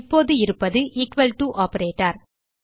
இப்போது இருப்பது equal to operator